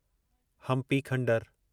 Hampi खंडरु